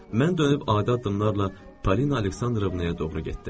Mən dönüb adi addımlarla Polina Aleksandrovnaya doğru getdim.